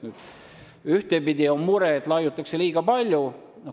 Ühtepidi on mure, et raiutakse liiga palju.